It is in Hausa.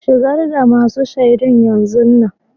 Shigar da masun shaidun yanzun nan.